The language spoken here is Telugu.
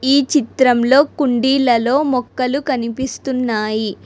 ఈ చిత్రంలో కుండీలలో మొక్కలు కనిపిస్తున్నాయి.